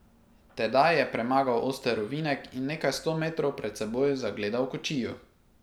Tedaj je premagal oster ovinek in nekaj sto metrov pred seboj zagledal kočijo.